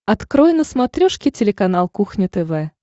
открой на смотрешке телеканал кухня тв